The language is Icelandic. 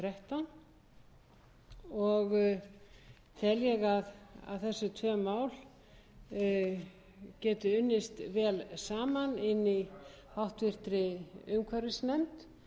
og þrettán og tel ég að þessi tvö mál geti unnist vel saman inni í háttvirtri umhverfisnefnd